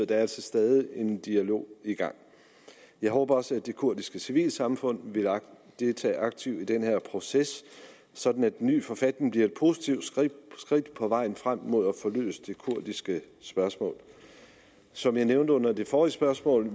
der altså stadig er en dialog i gang jeg håber også at det kurdiske civilsamfund vil deltage aktivt i den her proces sådan at den nye forfatning bliver et positivt skridt på vejen frem mod at få løst det kurdiske spørgsmål som jeg nævnte under det forrige spørgsmål